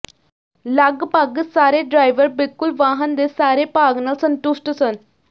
ਲਗਭਗ ਸਾਰੇ ਡਰਾਈਵਰ ਬਿਲਕੁਲ ਵਾਹਨ ਦੇ ਸਾਰੇ ਭਾਗ ਨਾਲ ਸੰਤੁਸ਼ਟ ਸਨ